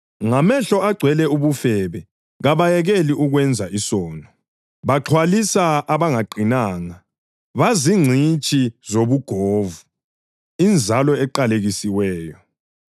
Ngamehlo agcwele ubufebe kabayekeli ukwenza isono; baxhwalisa abangaqinanga; bazingcitshi zobugovu, inzalo eqalekisiweyo!